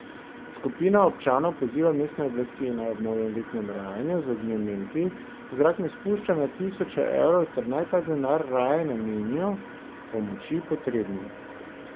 Skupina občanov poziva mestne oblasti, naj ob novoletnem rajanju z ognjemeti v zrak ne spušča na tisoče evrov ter naj ta denar raje namenijo pomoči potrebnim.